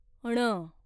ण